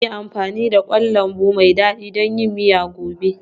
Za mu yi amfani da kwan lambu mai dadi don yin miya gobe.